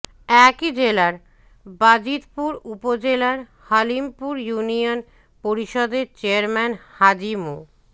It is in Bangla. একই জেলার বাজিতপুর উপজেলার হালিমপুর ইউনিয়ন পরিষদের চেয়ারম্যান হাজী মো